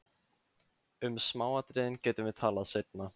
Um smáatriðin getum við talað seinna.